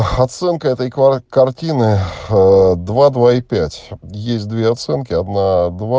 оценка этой картины два два и пять есть две оценки одна два